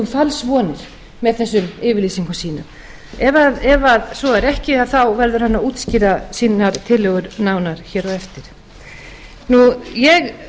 falsvonir með þessum yfirlýsingum sínum ef svo er ekki verður hann að útskýra sínar tillögur nánar hér á eftir ég